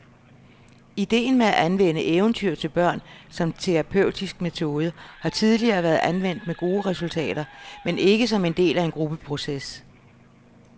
Idéen med at anvende eventyr til børn som terapeutisk metode har tidligere været anvendt med gode resultater, men ikke som en del af en gruppeproces.